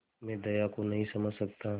मैं दया को नहीं समझ सकता